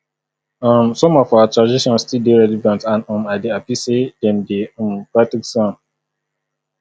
um some of our traditions still dey relevant and um i dey happy say dem dey um practice am